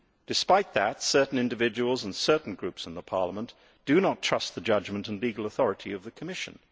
Despite that, certain individuals and certain groups in Parliament do not trust the judgement and legal authority of the Commission.